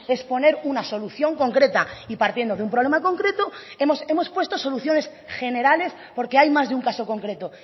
es poner una solución concreta y partiendo de un problema concreto hemos puesto soluciones generales porque hay más de un caso concreto